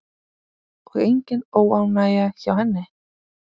Og engin óánægja hjá henni?